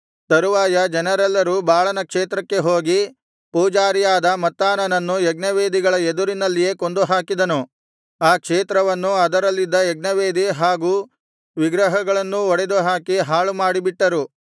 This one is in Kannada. ತರುವಾಯ ಜನರೆಲ್ಲರೂ ಬಾಳನ ಕ್ಷೇತ್ರಕ್ಕೆ ಹೋಗಿ ಪೂಜಾರಿಯಾದ ಮತ್ತಾನನನ್ನು ಯಜ್ಞವೇದಿಗಳ ಎದುರಿನಲ್ಲಿಯೇ ಕೊಂದುಹಾಕಿದನು ಆ ಕ್ಷೇತ್ರವನ್ನೂ ಅದರಲ್ಲಿದ್ದ ಯಜ್ಞವೇದಿ ಹಾಗೂ ವಿಗ್ರಹಗಳನ್ನೂ ಒಡೆದುಹಾಕಿ ಹಾಳುಮಾಡಿ ಬಿಟ್ಟರು